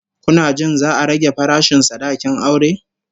Kuna jin za'a rage farashin sadakin aure?